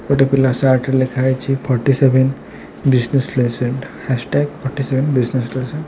ଏଇଠି ପିଲା ସାର୍ଟ ରେ ଲେଖାହେଇଛି forty seven business lesson hashtag forty seven business ଲେସେଣ୍ଟ।